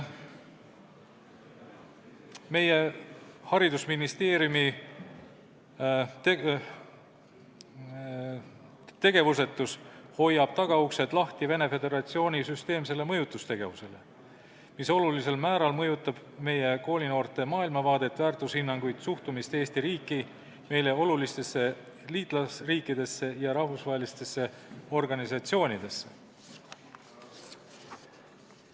Meie haridusministeeriumi tegevusetus hoiab lahti tagauksed Vene Föderatsiooni süsteemsele mõjutustegevusele, mis olulisel määral mõjutab meie koolinoorte maailmavaadet, väärtushinnanguid, suhtumist Eesti riiki, meile olulistesse liitlasriikidesse ja rahvusvahelistesse organisatsioonidesse.